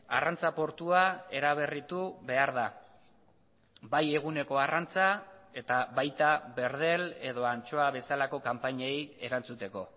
arrantza portua eraberritu behar da bai eguneko arrantza eta baita berdel edo antxoa bezalako kanpainei erantzuteko